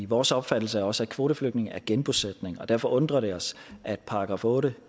vores opfattelse er også at kvoteflygtninge er genbosætning og derfor undrer det os at § otte